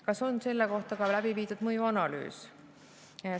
Kas on selle kohta ka läbi viidud mõjuanalüüs?